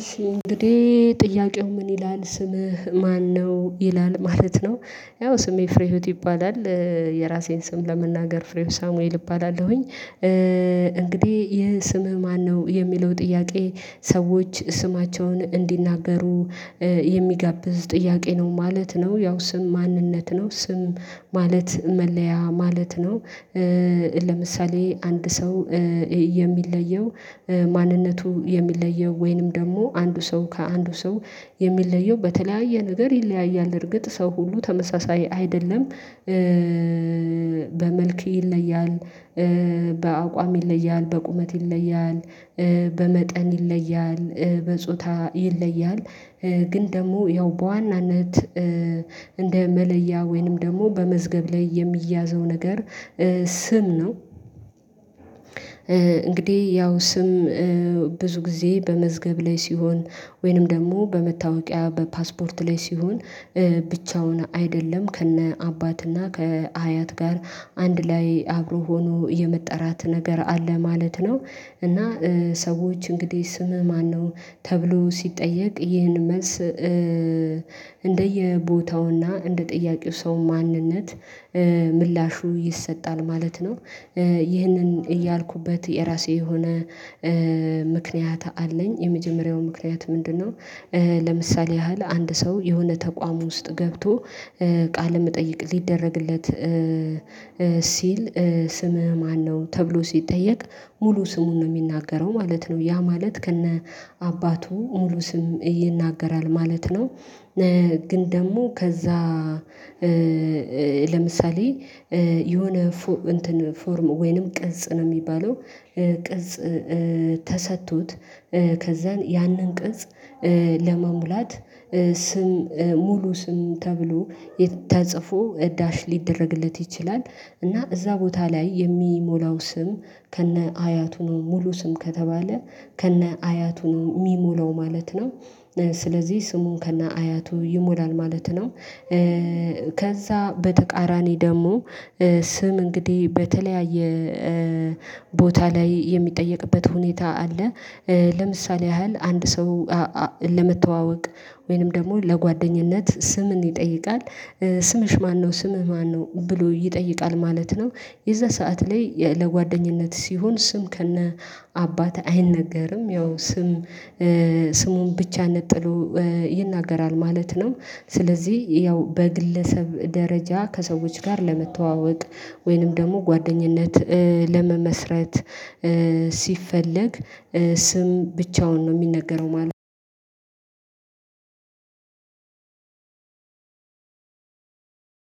እሺ እንግዲህ ጥያቄው ምን ይላል ስምህ ማነው ይላል? ማለት ነው ያው ስሜ ፍሬህይወት ይባላል። የራሴን ስም ለመናገር ፍሬህይወት ሳሙኤል እባላለሁኝ። እንግዲህ ይሄ ስምህ ማነው? የሚለው ጥያቄ ሰዎች ስማቸውን እንዲናገሩ የሚጋብዝ ጥያቄ ነው ማለት ነው። ያው ስም ማንነት ነው ስም ማለት መለያ ማለት ነው። ለምሳሌ አንድ ሰው የሚለየው ማንነቱ የሚለየው ወይንም ደግሞ አንዱ ሰው ከአንዱ ሰው የሚለየው በተለያየ ነገር ይለያያል። እርግጥ ሰው ሁሉ ተመሳሳይ አይደለም። በመልክ ይለያል። በአቋም ይለያል በቁመት ይለያል በመጠን ይለያል በጾታ ይለያል። ግን ደግሞ ያው በዋናነት እንደ መለያ ወይንም ደግሞ በመዝገብ ላይ የሚያዘው ነገር ስም ነው። እንግዲህ ያው ስም ብዙ ጊዜ በመዝገብ ላይ ሲሆን ወይንም ደግሞ በመታወቂያ በፓስፖርት ላይ ሲሆን ብቻውን አይደለም ከነ አባትና ከሀያት ጋር አንድ ላይ አብሮ ሆኖ የመጠራት ነገር አለ ማለት ነው። እና ሰዎች እንግዲህ ስምህ ማነው ተብሎ ሲጠየቅ ይህን መልስ። እንደየቦታውና እንደጠያቂው ሰው ማንነት ምላሹ ይሰጣል ማለት ነው። ይህንን ያልኩበት የራሴ የሆነ ምክንያት አለኝ። የመጀመሪያው ምክንያት ምንድነው? ለምሳሌ ያህል አንድ ሰው የሆነ ተቋም ውስጥ ገብቶ ቃል መጠየቅ ሊደረግለት። ሲል ስምህ ማነው ተብሎ ሲጠየቅ ሙሉ ስሙን ነው የሚናገረው ማለት ነው። ያ ማለት ከነ አባቱ ሙሉ ስምን ይናገራል ማለት ነው። ግን ደግሞ ከዛ ለምሳሌ የሆነ እንትን ፎርም ወይንም ቅጽ ነው የሚባለው። ቅጽ ተሰጥቶት ከዛን ያንን ቅጽ ለመሙላት ስም ሙሉ ስም ተብሎ ተጽፎ ዳሽ ሊደረግለት ይችላል። እና እዛ ቦታ ላይ የሚሞላው ስም ከነ አያቱ ሙሉ ስም ከተባለ ከነ አያቱ ነው የሚሞላው ማለት ነው። ስለዚህ ስሙን ከነ አያቱ ይሞላል ማለት ነው። ከዛ በተቃራኒ ደግሞ ስም እንግዲህ በተለያየ ቦታ ላይ የሚጠየቅበት ሁኔታ አለ። ለምሳሌ ያህል አንድ ሰው ለመተዋወቅ ወይንም ደግሞ ለጓደኝነት ስምን ይጠይቃል ስምሽ ማነው ስምህ ማነው? ብሎ ይጠይቃል ማለት ነው። የዛ ሰዓት ላይ ለጓደኝነት ሲሆን ስም ከነ አባት አይነገርም ያው ስም ስሙን ብቻ ነጥሎ ይናገራል ማለት ነው። ስለዚህ ያው በግለሰብ ደረጃ ከሰዎች ጋር ለመተዋወቅ ወይንም ደግሞ ጓደኝነት ለመመስረት ሲፈለግ ስም ብቻውን ነው የሚነገረው ማለት ነው።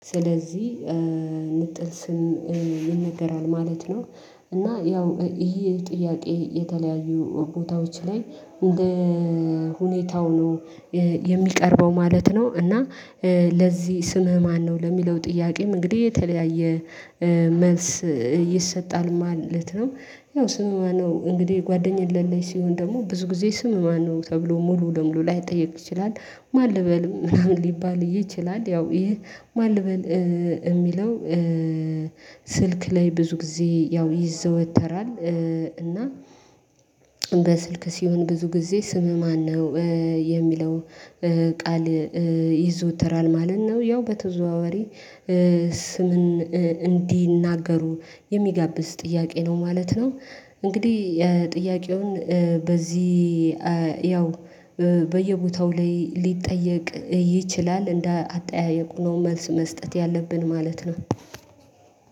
ስለዚህ ንጥል ስም ይነገራል ማለት ነው። እና ያው ይሄ ጥያቄ የተለያዩ ቦታዎች ላይ እንደ ሁኔታው ነው የሚቀርበው ማለት ነው። እና ለዚህ ስምህ ማነው ለሚለው ጥያቄም እንግዲህ የተለያየ መልስ ይሰጣል ማለት ነው። ያው ስምህ ማነው? እንግዲህ ጓደኛ የሌለኝ ሲሆን ደግሞ ብዙ ጊዜ ስም ማነው ተብሎ ሙሉ ለሙሉ ላይጠየቅ ይችላል። ማን ልበል ምናምን ሊባል ይችላል። ያው ይሄ ማን ልበል የሚለው ስልክ ላይ ብዙ ጊዜ ያው ይዘወተራል። እና በስልክ ሲሆን ብዙ ጊዜ ስምህ ማነው? የሚለው ቃል ይዘወተራል ማለት ነው። ያው በተዘዋዋሪ ስምን እንዲናገሩ የሚጋብዝ ጥያቄ ነው ማለት ነው። እንግዲህ ጥያቄውን በዚህ ያው በየቦታው ላይ ሊጠየቅ ይችላል እንደ አጠያየቁ ነው መልስ መስጠት ያለብን ማለት ነው።